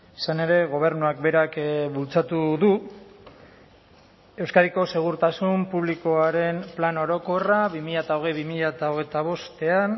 izan ere gobernuak berak bultzatu du euskadiko segurtasun publikoaren plan orokorra bi mila hogei bi mila hogeita bostean